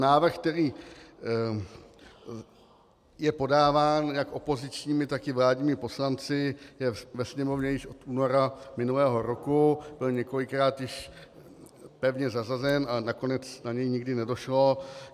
Návrh, který je podáván jak opozičními, tak i vládními poslanci, je ve Sněmovně již od února minulého roku, byl několikrát již pevně zařazen a nakonec na něj nikdy nedošlo.